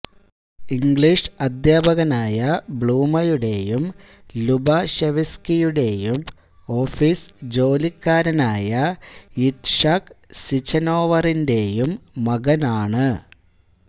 English അദ്ധ്യാപകനായ ബ്ലൂമയുടെയും ലുബാഷെവ്സ്കിയുടെയും ഓഫീസ് ജോലിക്കാരനായ യിത്ഷാക് സിചനോവറിന്റെയും മകനാണ്